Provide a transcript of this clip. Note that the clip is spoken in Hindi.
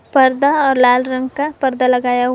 पर्दा और लाल रंग का पर्दा लगाया हुआ--